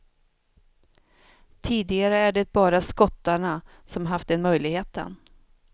Tidigare är det bara skottarna som haft den möjligheten.